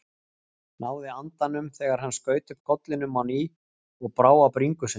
Náði andanum þegar hann skaut upp kollinum á ný og brá á bringusund.